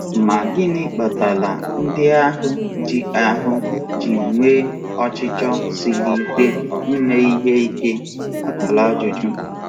Ma gịnị kpatara ndị ahụ ji ahụ ji nwee ọchịchọ siri ike ime ihe ike?